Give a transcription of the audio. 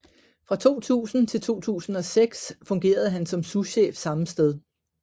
Fra 2000 til 2006 fungerede han som souschef samme sted